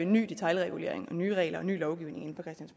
ny detailregulering og nye regler og ny lovgivning